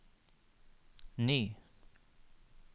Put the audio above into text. ny